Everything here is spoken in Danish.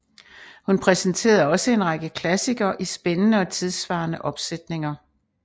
Hun præsenterede også en række klassikere i spændende og tidssvarende opsætninger